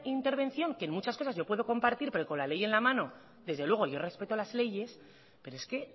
intervención que en muchas cosas yo puedo compartir pero que con la ley en la mano desde luego yo respeto las leyes pero es que